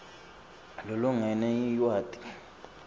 lokulingene lwati